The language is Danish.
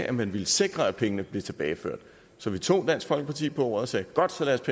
at man ville sikre at pengene blev tilbageført så vi tog dansk folkeparti på ordet og sagde godt så lad